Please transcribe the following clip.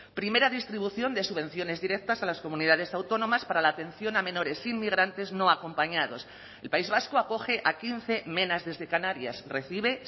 primera distribución de subvenciones directas a las comunidades autónomas para la atención a menores inmigrantes no acompañados el país vasco acoge a quince menas desde canarias recibe